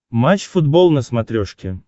матч футбол на смотрешке